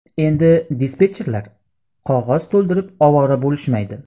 Endi dispetcherlar qog‘oz to‘ldirib ovora bo‘lishmaydi.